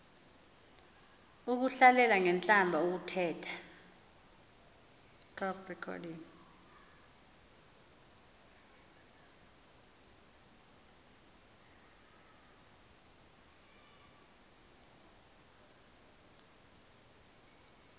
ukuhlalela ngentlamba ukuthetha